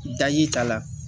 Daji ta la